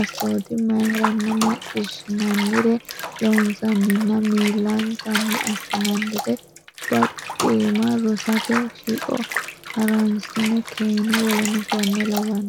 assoote nayrenna macciishshinannire loonsanninna millinsanni assinannire baqqiima rosate shiqo ha runsi keeno w k l.